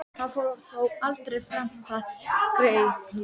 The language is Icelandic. Hann fór þó aldrei fram á það, greyið.